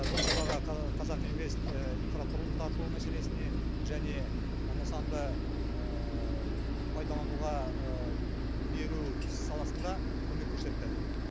бұл жобаға қазақ инвест инфрақұрылым тарту мәселесіне және нысанды пайдалануға беру саласында көмек көрсетті